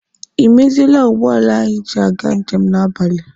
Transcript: Ị meziele ụgbọala anyị ji aga njem n'abalị?